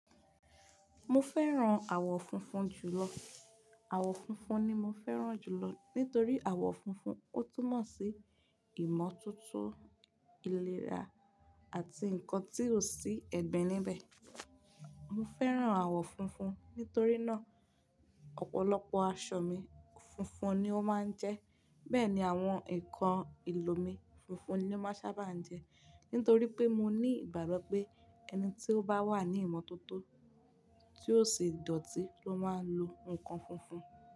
Mo fẹ́ran àwọ̀ funfun jùlọ. Àwọ̀ funfun ni mo fẹ́ran jùlọ nítorí àwọ̀ funfun, ó túnmọ̀ sí ìmọ́tótó, ìlera àti nǹkan tí ó sí ẹ̀gbin níbẹ̀. Mo fẹ́ran àwọ̀ funfun nítorí náà, ọ̀pọ̀lọpọ̀ aṣọ mi funfun ni ó máa ń jẹ́. Bẹ́ẹ̀ ni àwọn ǹkan ìlò mi funfun ni ó máa ń sábà ń jẹ́. Nítorí pé mo ní ìgbàgbọ́ pé ẹni tí ó bá wà ní ìmọ́tótó tí ó ṣe dọ̀tí ló máa ń lo ǹkan funfun.